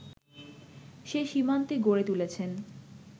সে সীমান্তে গড়ে তুলেছেন